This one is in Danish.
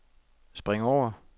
spring over